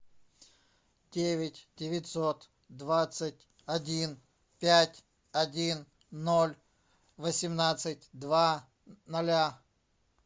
девять девятьсот двадцать один пять один ноль восемнадцать два ноля